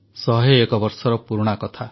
ଶହେ ଏକ ବର୍ଷର ପୁରୁଣା କଥା